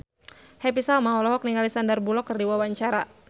Happy Salma olohok ningali Sandar Bullock keur diwawancara